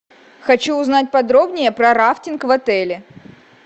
хочу узнать подробнее про рафтинг в отеле